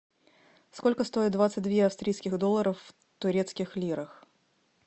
сколько стоит двадцать две австрийских долларов в турецких лирах